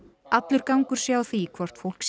allur gangur sé á því hvort fólk